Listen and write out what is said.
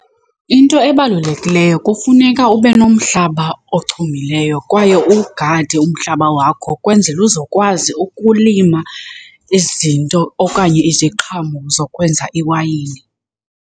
Into ebalulekileyo kufuneka ube nomhlaba ochumileyo kwaye uwugade umhlaba wakho kwenzela uzokwazi ukulima izinto okanye iziqhamo zokwenza iwayini.